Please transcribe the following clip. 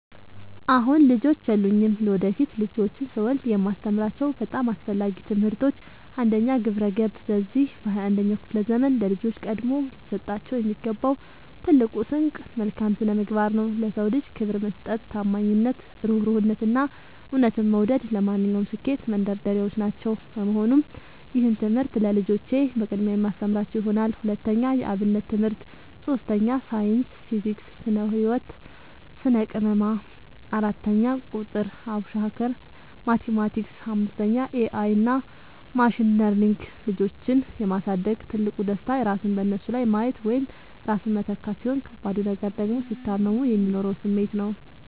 አሁን ልጆች የሉኝም። ለወደፊት ልጆችን ስወልድ የማስተምራቸው በጣም አስፈላጊ ትምህርቶች፦ 1. ግብረ-ገብ፦ በዚህ በ 21ኛው ክፍለ ዘመን ለልጆች ቀድሞ ሊሰጣቸው የሚገባው ትልቁ ስንቅ መልካም ስነምግባር ነው። ለ ሰው ልጅ ክብር መስጠት፣ ታማኝነት፣ እሩህሩህነት፣ እና እውነትን መውደድ ለማንኛውም ስኬት መንደርደሪያዎች ናቸው። በመሆኑም ይህንን ትምህርት ለልጆቼ በቅድሚያ የማስተምራቸው ይሆናል። 2. የ አብነት ትምህርት 3. ሳይንስ (ፊዚክስ፣ ስነ - ህወት፣ ስነ - ቅመማ) 4. ቁጥር ( አቡሻኽር፣ ማቲማቲክስ ...) 5. ኤ አይ እና ማሽን ለርኒንግ ልጆችን የ ማሳደግ ትልቁ ደስታ ራስን በነሱ ላይ ማየት ወይም ራስን መተካት፣ ሲሆን ከባዱ ነገር ደግሞ ሲታመሙ የሚኖረው ስሜት ነው።